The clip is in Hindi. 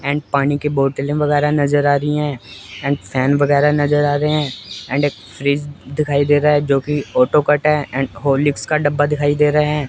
एंड पानी के बोतल वगैरा नजर आ रही है एंड फैन वगेरा नजर आ रहे हैं एंड फ्रिज दिखाई दे है जो की ऑटो कट है एंड हॉर्लिक्स का डब्बा दिखाई दे रहे हैं।